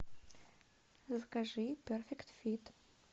закажи перфект фит